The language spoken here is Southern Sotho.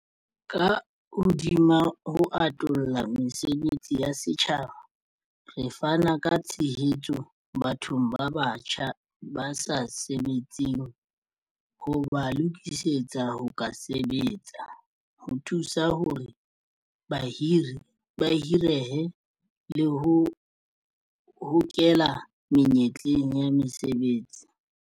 Ka hodima ho atolla mesebetsi ya setjhaba, re fana ka tshehetso bathong ba batjha ba sa sebetseng ho ba lokisetsa ho ka sebetsa, ho thusa hore ba hirehe, le ho ba hokela menyetleng ya mosebetsi.